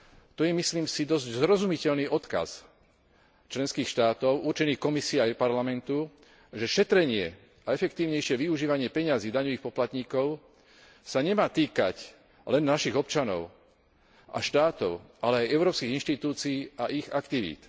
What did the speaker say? To je, myslím si, dosť zrozumiteľný odkaz členských štátov určený Komisii aj Parlamentu, že šetrenie a efektívnejšie využívanie peňazí daňových poplatníkov sa nemá týkať len našich občanov a štátov, ale aj európskych inštitúcií a ich aktivít.